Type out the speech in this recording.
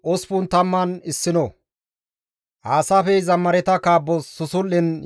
Nuus wolqqa gidida Xoossas ufayssan yexxite; Yaaqoobe Xoossas ililite!